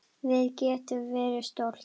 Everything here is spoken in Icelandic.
Við getum verið stolt.